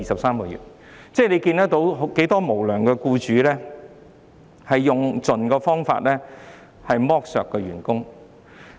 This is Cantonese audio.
我們從這些例子看到有很多無良僱主用盡方法來剝削員工。